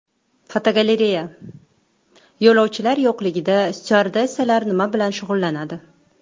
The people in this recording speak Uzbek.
Fotogalereya: Yo‘lovchilar yo‘qligida styuardessalar nima bilan shug‘ullanadi?.